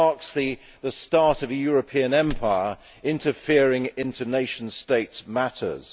It marks the start of a European empire interfering in nation states' matters.